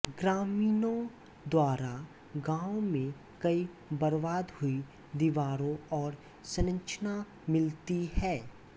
ग्रामीणों द्वारा गांव में कई बर्बाद हुई दीवारें और संरचना मिलती है